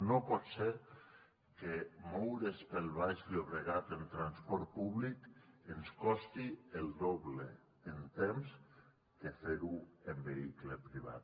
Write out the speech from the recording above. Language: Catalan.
no pot ser que moure’s pel baix llobregat en transport públic ens costi el doble en temps que fer ho en vehicle privat